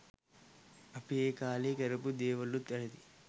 අපි ඒ කාලේ කරපු දේවලුත් වැරදියි